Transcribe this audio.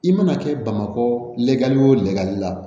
I mana kɛ bamakɔ la o lali la